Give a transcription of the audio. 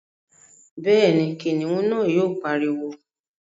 Bẹ́ẹ̀ni, kìnìún náà yóò pariwo